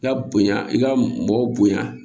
I ka bonya i ka mɔgɔw bonya